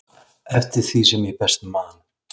eftir því sem ég best man.